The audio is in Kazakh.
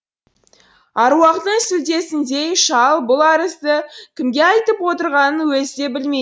аруақтың сүлдесіндей шал бұл арызды кімге айтып отырғанын өзі де білмейді